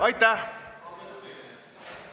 Aitäh!